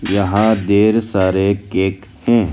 यहां ढेर सारे केक हैं।